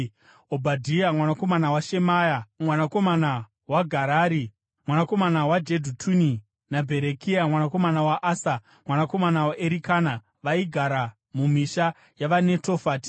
Obhadhia mwanakomana waShemaya, mwanakomana waGarari, mwanakomana waJedhutuni; naBherekia mwanakomana waAsa, mwanakomana waErikana, vaigara mumisha yavaNetofati.